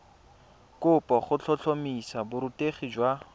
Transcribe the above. kopo go tlhotlhomisa borutegi jwa